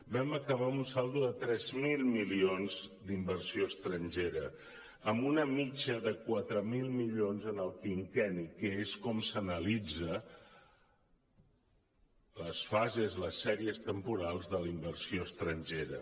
vam acabar amb un saldo de tres mil milions d’in·versió estrangera amb una mitjana de quatre mil milions en el quinquenni que és com s’analitzen les fases les sèries temporals de la inversió estrangera